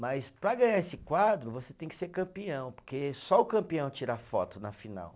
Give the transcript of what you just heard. Mas para ganhar esse quadro, você tem que ser campeão, porque só o campeão tira foto na final.